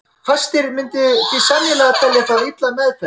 Fæstir myndu því sennilega telja það illa meðferð að þrífa fánann.